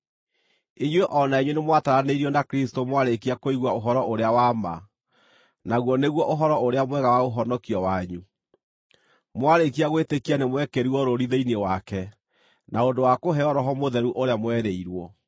Inyuĩ o na inyuĩ nĩmwataranĩirio na Kristũ mwarĩkia kũigua ũhoro-ũrĩa-wa-ma, naguo nĩguo Ũhoro-ũrĩa-Mwega wa ũhonokio wanyu. Mwarĩkia gwĩtĩkia, nĩmwekĩrirwo rũũri thĩinĩ wake, na ũndũ wa kũheo Roho Mũtheru ũrĩa mwerĩirwo,